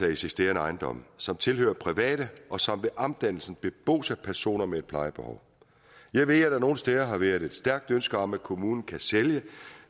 eksisterende ejendomme som tilhører private og som ved omdannelsen bebos af personer med et plejebehov jeg ved at der nogle steder har været et stærkt ønske om at kommunen kan sælge